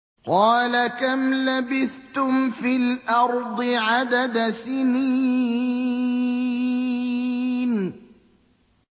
قَالَ كَمْ لَبِثْتُمْ فِي الْأَرْضِ عَدَدَ سِنِينَ